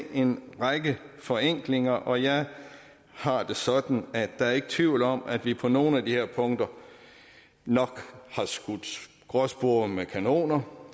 en række forenklinger og jeg har det sådan at der ikke er tvivl om at vi på nogle af de her punkter nok har skudt gråspurve med kanoner